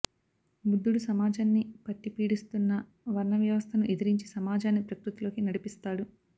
బుద్ధుడు సమాజాన్ని పట్టిపీడిస్తున్న వర్ణ వ్యవస్థను ఎదిరించి సమాజాన్ని ప్రకృతిలోకి నడిపిస్తాడు